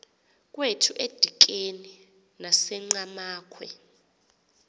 kwethu edikeni nasenqhamakhwe